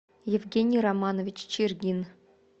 евгений романович чергин